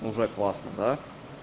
уже классно да